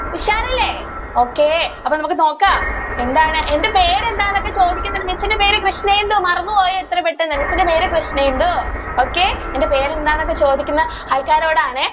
ഉഷാറല്ലെ? okay അപ്പൊ നമുക്ക് നോക്കാം എന്താണ് എൻ്റെ പേര് എന്താണെന്നൊക്കെ ചോദികുന്നുണ്ട് miss ന്റെ പേര് കൃഷ്ണേന്തു മറന്നു പോയോ ഇത്രപെട്ടെന്ന് miss ന്റെ പേര് കൃഷ്ണേന്തു okay എൻ്റെ പേര് എന്താണെന്നൊക്കെ ചോദിക്കുന്ന ആൾക്കാരോടാണെ.